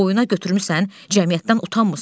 Boynana götürmüsən, cəmiyyətdən utanmırsan?